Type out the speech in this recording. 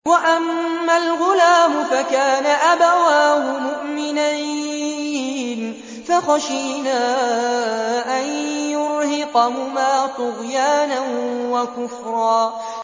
وَأَمَّا الْغُلَامُ فَكَانَ أَبَوَاهُ مُؤْمِنَيْنِ فَخَشِينَا أَن يُرْهِقَهُمَا طُغْيَانًا وَكُفْرًا